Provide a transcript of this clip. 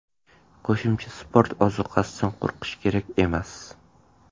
Qo‘shimcha sport ozuqasidan qo‘rqish kerak emas.